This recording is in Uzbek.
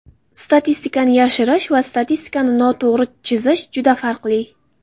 Statistikani yashirish va statistikani noto‘g‘ri chizish juda farqli.